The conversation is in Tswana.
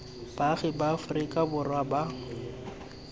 baagi ba aforika borwa ba